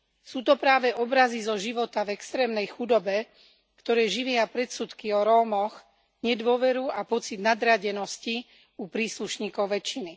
Sú to práve obrazy zo života v extrémnej chudobe, ktoré živia predsudky o Rómoch, nedôveru a pocit nadradenosti u príslušníkov väčšiny.